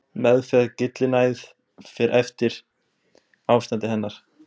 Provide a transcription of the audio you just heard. Meðferð við gyllinæð fer eftir ástandi hennar.